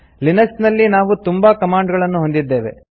Linux ನಲ್ಲಿ ನಾವು ತುಂಬಾ ಕಮಾಂಡ್ ಗಳನ್ನು ಹೊಂದಿದ್ದೇವೆ